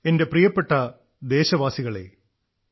എന്റെ പ്രിയപ്പെട്ട ദേശവാസികളെ നമസ്കാരം